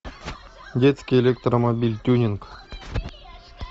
детский электромобиль тюнинг